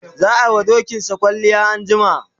za'a wa dokinsa kwalliya anjima